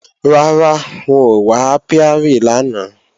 Rárá, wọn ò wá ápíárì lánàá